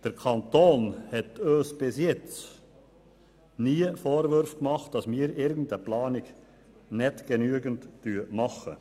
Der Kanton hat uns bis jetzt nie vorgeworfen, dass wir eine Planung nicht genügend umsetzen.